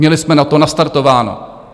Měli jsme na to nastartováno.